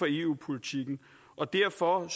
eu politikken og derfor